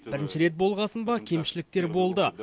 бірінші рет болғасын ба кемшіліктер болды